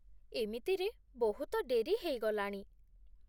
ଏମିତିରେ ବହୁତ ଡେରି ହେଇଗଲାଣି ।